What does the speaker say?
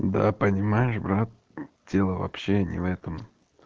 да понимаешь брат дело вообще не в этом